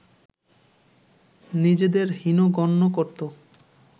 নিজেদের হীন গণ্য করত